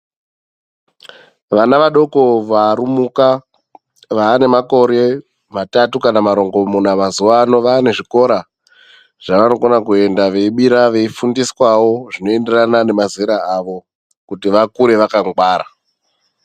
Vana vadoko varumuka vaane makore matatu kana marongomuna mazuwa ano, vaane zvikora zvavanokona kuenda veibira veifundiswawo zvinoenderana nemazera avo. Kuti vakure vakangwara.